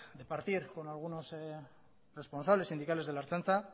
de debatir con algunos responsables sindicales de la ertzaintza